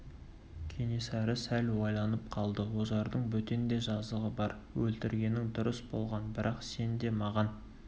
кенесары сәл ойланып қалды ожардың бөтен де жазығы бар өлтіргенің дұрыс болған бірақ сен де маған